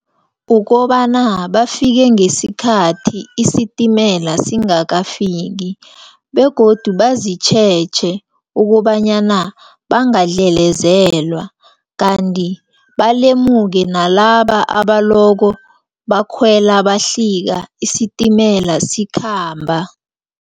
Ukobana bafike ngesikhathi isitimela singakafiki, begodu bazitjheje ukobana bangaldlelezelwa, kanti balemuke nalaba abaloko bakhwela bahlika isitimela sikhamba.